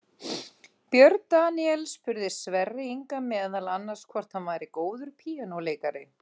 Björn Daníel spurði Sverri Inga meðal annars hvort hann væri góður píanóleikari.